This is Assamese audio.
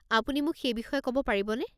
আপুনি মোক সেই বিষয়ে ক'ব পাৰিবনে?